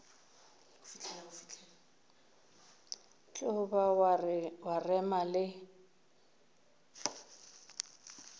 tlo ba wa rema le